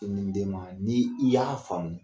Ko ni den ma n'i i y'a faamu